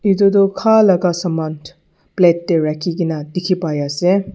eto toh kaa laga saman plate teh rakhi kina teki pai ase.